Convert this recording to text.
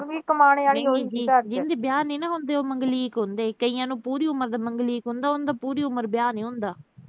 ਜੀਹਦੇ ਵਿਆਹ ਨੀਂ ਨਾ ਹੁੰਦੇ, ਉਹ ਮੰਗਲੀਕ ਹੁੰਦੇ, ਕਈਆਂ ਨੂੰ ਪੂਰੀ ਮੰਗ ਅਹ ਮੰਗਲੀਕ ਹੁੰਦੇ, ਉਨ੍ਹਾਂ ਦਾ ਪੂਰੀ ਉਮਰ ਵਿਆਹ ਨੀਂ ਹੁੰਦਾ।